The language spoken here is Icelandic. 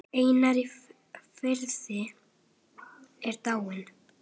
Einar á Firði er dáinn.